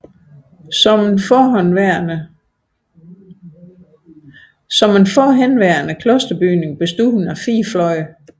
Som en forhenværende klosterbygning bestod det af 4 fløje